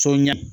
So ɲɛ